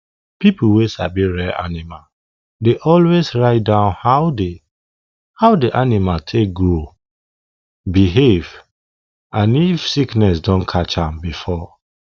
people wey sabi rear animal dey always write down how the how the animal take grow behave and if sickness don catch am before